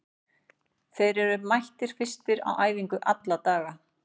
Þeir eru mættir fyrstir á æfingu alla daga.